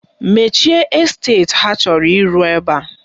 Mechie esteti ha chọrọ ịrụ ebe a!